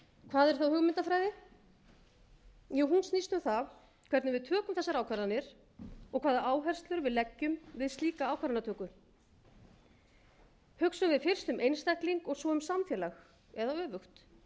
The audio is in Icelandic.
hvað er hugmyndafræði hún snýst um það hvernig við tökum þessar ákvarðanir og hvaða áherslur við leggjum við slíka ákvarðanatöku hugsum við fyrst um einstakling og svo um samfélag eða öfugt